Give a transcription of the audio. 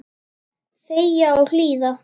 Þegja og hlýða.